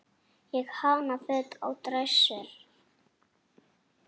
Ég hanna föt á dræsur.